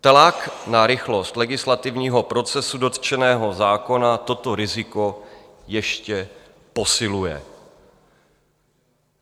Tlak na rychlost legislativního procesu dotčeného zákona toto riziko ještě posiluje.